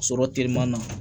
Sɔrɔ teliman na